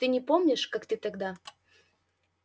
ты не помнишь как ты тогда